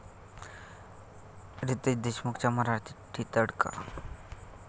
रितेश देशमुखचा मराठी तडका